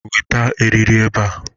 Weta eriri ebe a!